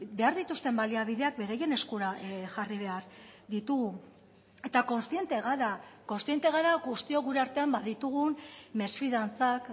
behar dituzten baliabideak beraien eskura jarri behar ditugu eta kontziente gara kontziente gara guztiok gure artean baditugun mesfidantzak